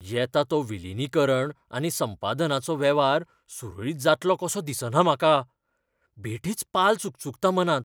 येता तो विलीनीकरण आनी संपादनाचो वेव्हार सुरळीत जातलो कसो दिसना म्हाका. बेठीच पाल चुकचुकता मनांत.